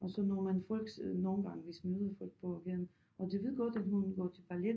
Og så når man folks nogle gange hvis møder folk på gaden og de ved godt at hun går til ballet